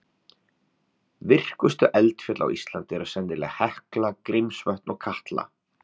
Virkustu eldfjöll á Íslandi eru sennilega Hekla, Grímsvötn og Katla.